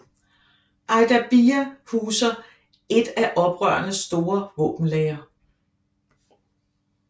Ajdabiya huser et af oprørenes store våbenlagre